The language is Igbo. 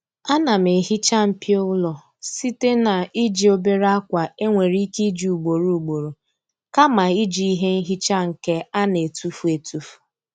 Ana m ehiicha mpio ụlọ site n'iji obere akwa e nwere ike iji ugboro ugboro kama iji ihe nhicha nke a na-etufu etufu.